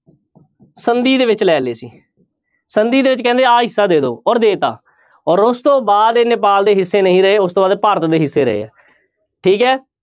ਸੰਧੀ ਦੇ ਵਿੱਚ ਲੈ ਲਏ ਸੀ, ਸੰਧੀ ਦੇ ਵਿੱਚ ਕਹਿੰਦੇ ਆਹ ਹਿੱਸਾ ਦੇ ਦਓ ਔਰ ਦੇ ਦਿੱਤਾ ਔਰ ਉਸ ਤੋਂ ਬਾਅਦ ਇਹ ਨੇਪਾਲ ਦੇ ਹਿੱਸੇ ਨਹੀਂ ਰਹੇ ਉਸ ਤੋਂ ਬਾਅਦ ਭਾਰਤ ਦੇ ਹਿੱਸੇ ਰਹੇ ਆ ਠੀਕ ਹੈ।